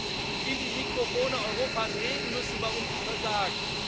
Und Sie werden in die Mikrofone Europas reden müssen, warum Sie versagen.